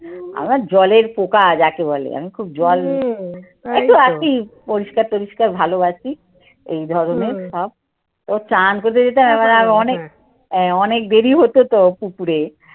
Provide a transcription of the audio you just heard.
আমার জলের পোকা যাকে বলে আমি খুব জল নেই একটু আছি পরিষ্কার টোরিস্কার ভালোবাসি। এই ধরনের সব ও চান করতে যেতে হয় এবারে আরো অনেক অনেক দেরি হতো তো পুকুরে।